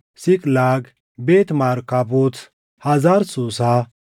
Siiqlaag, Beet Markaabot, Hazar Suusaa,